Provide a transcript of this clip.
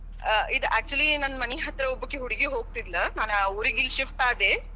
ಆ ಇದ್ actually ನನ್ನ ಮನಿ ಹತ್ತಿರ ಒಬ್ಬಾಕಿ ಹುಡುಗಿ ಹೋಗತಿದ್ಳ ನಾನ್ ಊರಿಗೆ ಇಲ್ಲಿ ಶಿಫ್ಟ್ ಆದೆ,